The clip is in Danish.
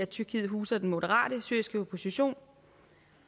tyrkiet huser den moderate syriske opposition